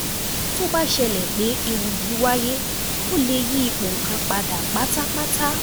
Tó bá ṣẹlẹ̀ pé ewu yìí wáyé, ó lè yí ipò nǹkan padà pátápátá.